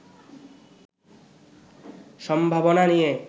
সম্ভাবনা নিয়ে